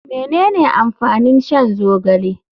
Menene amfanin shan zogale.